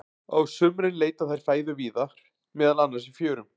Á sumrin leita þær fæðu víðar, meðal annars í fjörum.